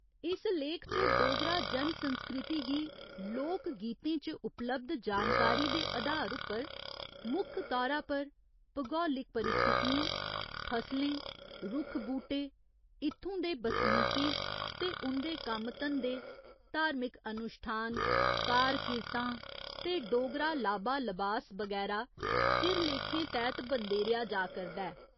इस लेख च डोगरा जन संस्कृति गी लोक गीतें च उपलब्ध जानकारी दे अधार उप्पर मुक्ख तौरा पर भगोलिक परिस्थितियें, फसलें, रुक्ख बूह्टे, इत्थुं दे बसनीकें ते उं'दे कम्म धंदे, धार्मिक अनुश्ठान, कार किरतां ते डोगरा लाबा लबास बगैरा सिरलेखें तैह्त बंदेरेआ जा करदा ऐ।